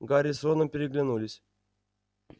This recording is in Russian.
гарри с роном переглянулись